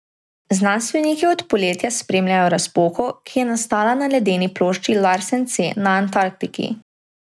Znanstveniki od poletja spremljajo razpoko, ki je nastala na ledeni plošči Larsen C na Antarktiki.